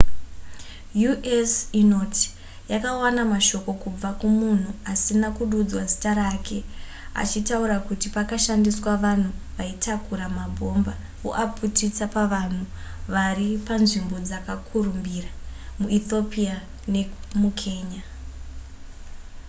u.s. inoti yakawana mashoko kubva kumunhu asina kududzwa zita rake achitaura kuti pakashandiswa vanhu vaitakura mabhomba voaputisa pavanhu vari panzvimbo dzakakurumbira muethiopia nemukenya